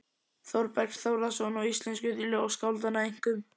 Þórbergs Þórðarsonar og íslensku ljóðskáldanna, einkum